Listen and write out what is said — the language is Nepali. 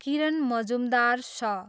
किरण मजुमदार, स